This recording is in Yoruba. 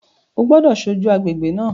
O gbọ́dọ̀ ṣojú agbègbè náà